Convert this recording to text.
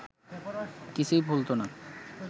কিছুই ভুলত না